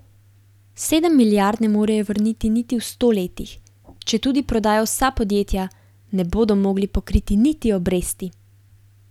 Sedem milijard ne morejo vrniti v sto letih, četudi prodajo vsa podjetja, ne bodo mogli pokriti niti obresti.